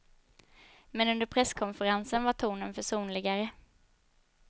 Men under presskonferensen var tonen försonligare.